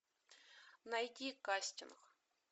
найти кастинг